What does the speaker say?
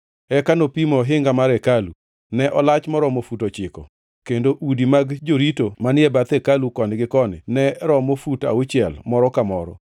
Eka nopimo ohinga mar hekalu; ne olach moromo fut ochiko, kendo udi mag jorito manie bath hekalu koni gi koni ne romo fut auchiel moro ka moro.